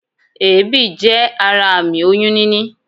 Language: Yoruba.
Èébì jé ara àmì oyún níní